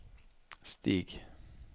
Stig